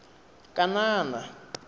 kanana